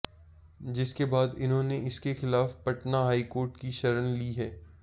जिसके बाद इन्होने इसके खिलाफ पटना हाईकोर्ट की शरण ली है